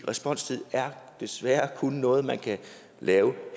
responstid er desværre kun noget man kan lave